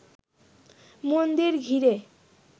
মন্দির ঘিরে